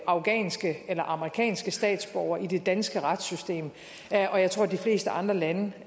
afghanske eller amerikanske statsborgere i det danske retssystem og jeg tror at de fleste andre lande